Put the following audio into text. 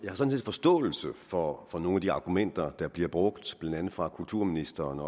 forståelse for for nogle af de argumenter der bliver brugt blandt andet fra kulturministeren